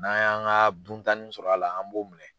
N'an y'an ka duntanin sɔrɔ a la an b'o minɛ.